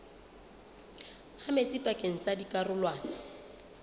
ha metsi pakeng tsa dikarolwana